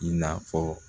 I n'a fɔ